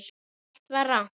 Allt var rangt.